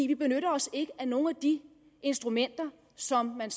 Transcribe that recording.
vi benytter os ikke af nogle af de instrumenter som man